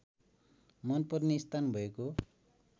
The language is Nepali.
मनपर्ने स्थान भएको